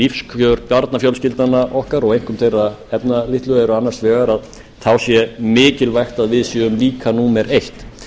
lífskjör barnafjölskyldna okkar og einkum þeirra efnalitlu eru annars vegar að þá sé mikilvægt að við séum líka númer eitt